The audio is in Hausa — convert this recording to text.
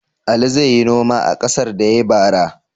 Ali zai yi noma a ƙasar da ya yi bara?